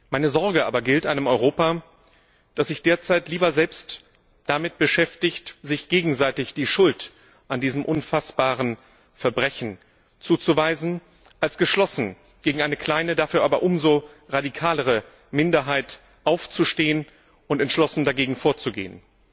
Meine Sorge aber gilt einem Europa, das sich derzeit lieber selbst damit beschäftigt, sich gegenseitig die Schuld an diesem unfassbaren Verbrechen zuzuweisen, als geschlossen gegen eine kleine, dafür aber umso radikalere Minderheit aufzustehen und entschlossen dagegen vorzugehen.